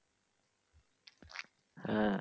হ্যা।